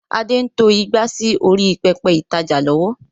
Adé ń to ìgbà sì orí pẹpẹ ìtajà lọ́wọ́